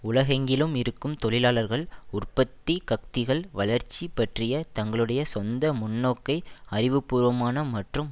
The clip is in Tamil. உலகெங்கிலும் இருக்கும் தொழிலாளர்கள் உற்பத்திச்கக்திகள் வளர்ச்சி பற்றிய தங்களுடைய சொந்த முன்னோக்கை அறிவுபூர்வமான மற்றும்